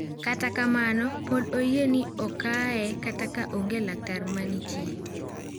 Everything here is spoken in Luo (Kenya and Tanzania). Kata kamano pod oyie ni okae kata ka onge laktar ma nitie.